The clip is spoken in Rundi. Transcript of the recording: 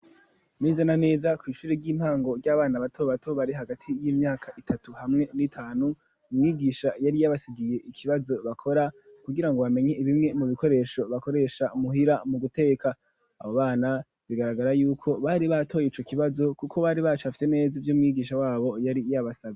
Neza na neza kw'ishuri ry'intango ry'abana bato bato bari hagati y'imyaka itatu hamwe n'itanu umwigisha yari yabasigiye ikibazo bakora kugirango bamenye bimwe mu bikoresho bakoresha muhira mu guteka abo bana bigaragara yuko bari batoye ico kibazo kuko bari bacafye neza ivyo umwigisha wabo yari yabasavye.